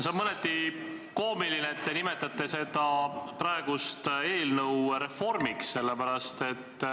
See on mõneti koomiline, et te nimetate seda eelnõu reformiks.